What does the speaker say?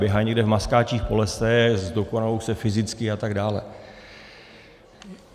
Běhají někde v maskáčích po lese, zdokonalují se fyzicky atd.